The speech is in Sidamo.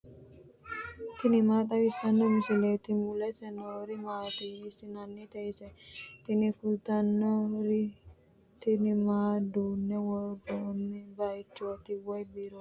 tini maa xawissanno misileeti ? mulese noori maati ? hiissinannite ise ? tini kultannori tini maa duunne worronnni baychooti woyi biirooti